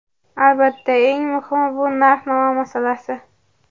Albatta, eng muhimi bu narx-navo masalasi!